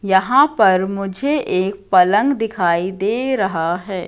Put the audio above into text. यहां पर मुझे एक पलंग दिखाई दे रहा है।